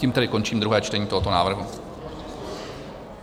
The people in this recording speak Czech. Tím tedy končím druhé čtení tohoto návrhu.